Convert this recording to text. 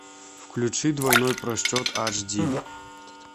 включи двойной просчет аш ди